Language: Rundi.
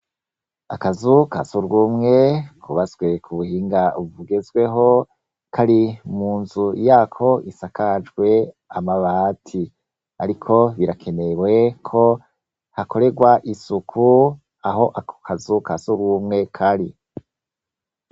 Akazu ka s'urwumwe kubatswe ku buhinga bugezweho, kari mu nzu yako isakajwe amabati. Ariko birakenewe ko hakorerwa isuku aho ako kazu ka s'urwumwe kari.